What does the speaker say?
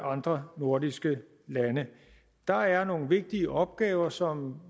andre nordiske lande der er nogle vigtige opgaver som